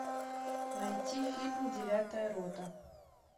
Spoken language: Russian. найти фильм девятая рота